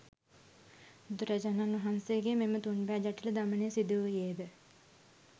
බුදුරජාණන් වහන්සේගේ මෙම තුන් බෑ ජටිල දමනය සිදුවූයේද